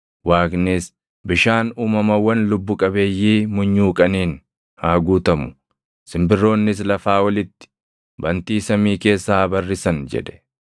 Waaqnis, “Bishaan uumamawwan lubbu qabeeyyii munyuuqaniin haa guutamu; simbirroonnis lafaa olitti, bantii samii keessa haa barrisan” jedhe.